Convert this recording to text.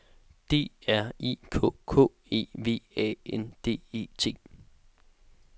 D R I K K E V A N D E T